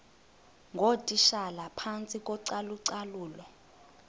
ngootitshala phantsi kocalucalulo